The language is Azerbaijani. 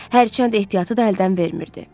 Hərçənd ehtiyatı da əldən vermirdi.